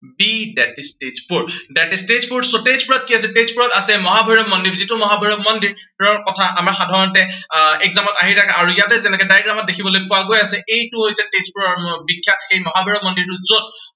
c Tezpur. c, that is Tezpur. so তেজপুৰত কি আছে, তেজপুৰত আছে মহাভৈৰৱ মন্দিৰ। যিটো মহাভৈৰৱ মন্দিৰৰ কথা আমাৰ সাধাৰণতে আহ exam ত আহি থাকে আৰু ইয়াতে তেনেকে diagram ত দেখিবলে পোৱা গৈ আছে, এইটো হৈছে তেজপুৰৰ বিখ্য়াত মহাভৈৰৱ মন্দিৰটো যত